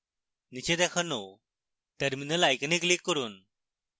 নীচে দেখানো terminal icon click করুন